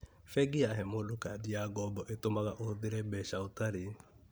Bengi yahe mũndũ kandi ya ngombo ĩtũmaga ũhũthĩre mbeca ũtarĩ